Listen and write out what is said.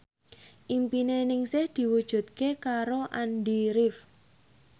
impine Ningsih diwujudke karo Andy rif